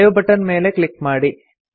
save button ಮೇಲೆ click ಮಾಡಿ